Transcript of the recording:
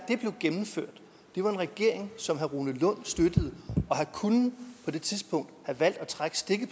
en regering som herre rune lund støttede og han kunne på det tidspunkt have valgt at trække stikket